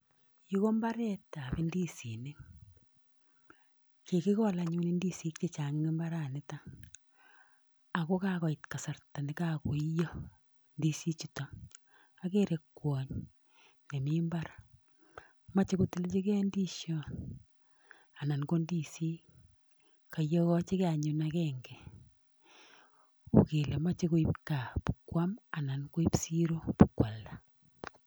Yu ko mbaretab indisinik. Kigikol anyun indisinik che chang en mbaranito ago kagoit kasarta ne kagoiiyo indisinichuto. Ogere kwony nemi mbar moche kotilchige indisiot anan ko indisinik. Koiyogochige anyun agenge. Uu kele moche koib gaa bo kwam anan koib siret bo koalda.